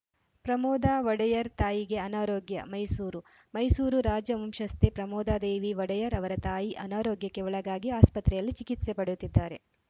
ಪ್ರಮೋದಾ ಒಡೆಯರ್‌ ತಾಯಿಗೆ ಅನಾರೋಗ್ಯ ಮೈಸೂರು ಮೈಸೂರು ರಾಜವಂಶಸ್ಥೆ ಪ್ರಮೋದಾದೇವಿ ಒಡೆಯರ್‌ ಅವರ ತಾಯಿ ಅನಾರೋಗ್ಯಕ್ಕೆ ಒಳಗಾಗಿ ಆಸ್ಪತ್ರೆಯಲ್ಲಿ ಚಿಕಿತ್ಸೆ ಪಡೆಯುತ್ತಿದ್ದಾರೆ